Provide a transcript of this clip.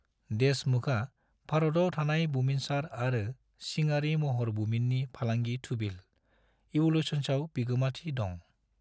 देशमुखआ भारताव थानाय बुमिनसार आरो सिङारि महर बुमिननि फालांगि थुबिल, इवोल्यूशंस आव बिगोमाथि दं ।